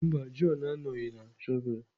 Mba, John anọghị na shọvel.